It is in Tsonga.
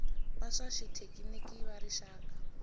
va swa xithekiniki va rixaka